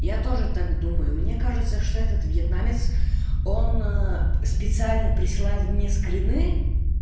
я тоже так думаю мне кажется что этот вьетнамец он специально присылает мне скрины